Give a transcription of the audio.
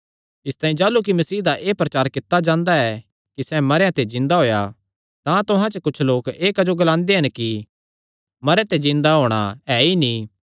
इसतांई जाह़लू कि मसीह दा एह़ प्रचार कित्ता जांदा ऐ कि सैह़ मरेयां ते जिन्दा होएया तां तुहां च कुच्छ लोक एह़ क्जो ग्लांदे हन कि मरेयां ते जिन्दा होणा ऐ ई नीं